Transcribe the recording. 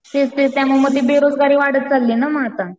तेच तेच त्यामुळं ते बेरोजगारी वाढत चालली ये ना आता.